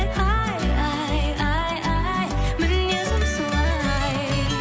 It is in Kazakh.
ай ай ай ай мінезім солай